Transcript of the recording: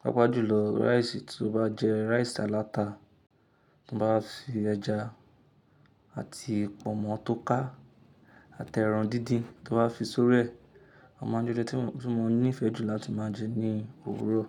Pápá jùlọ rice tí ó bá jẹ rice aláta, mo bá fi ẹja àti pọ̀nmọ́ tó ká àti ẹran díndín tí ó bá fi sóriẹ̀, ọ máa ń jẹ ó tí mo níí ìfẹ́ jù láti máa jẹ ní òwúrò.